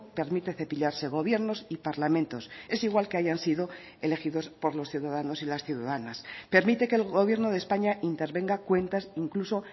permite cepillarse gobiernos y parlamentos es igual que hayan sido elegidos por los ciudadanos y las ciudadanas permite que el gobierno de españa intervenga cuentas incluso